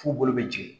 F'u bolo bɛ jigin